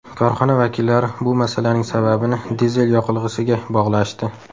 Korxona vakillari bu masalaning sababini dizel yoqilg‘isiga bog‘lashdi.